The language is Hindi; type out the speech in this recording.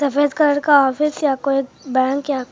सफेद कलर का ऑफिस या कोई बैंक या कोई--